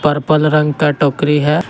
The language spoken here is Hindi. पर्पल रंग का टोकरी है।